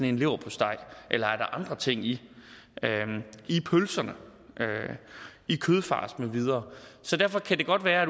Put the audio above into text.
en leverpostej eller er der andre ting i pølserne kødfars med videre så derfor kan det godt være